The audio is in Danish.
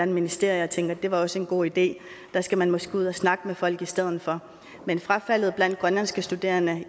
ministerie og tænker det var også en god idé der skal man måske ud at snakke med folk i stedet for men frafaldet blandt grønlandske studerende